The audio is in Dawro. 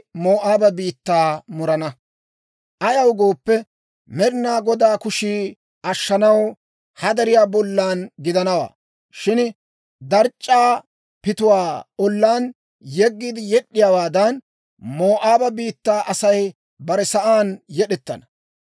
Ayaw gooppe, Med'inaa Godaa kushii ashshanaw ha deriyaa bollan gidanawaa. Shin darc'c'aa pituwaa ollaan yeggiide yed'd'iyaawaadan, Moo'aaba biittaa Asay bare sa'aan yed'ettana.